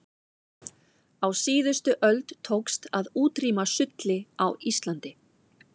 á síðustu öld tókst að útrýma sulli á íslandi